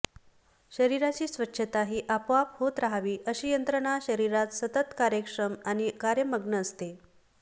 शरीराची स्वच्छता ही आपोआप होत रहावी अशी यंत्रणा शरीरात सतत कार्यक्षम आणि कार्यमग्न असते